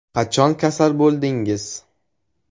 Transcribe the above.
Qachon kasal bo‘ldingiz?